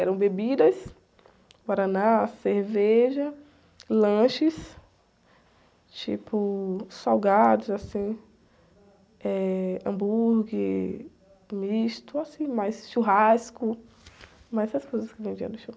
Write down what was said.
Eram bebidas, guaraná, cerveja, lanches, tipo, salgados, assim, eh, hambúrguer, misto, assim, mais churrasco, mais essas coisas que vendiam no show.